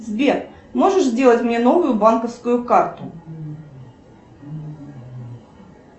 сбер можешь сделать мне новую банковскую карту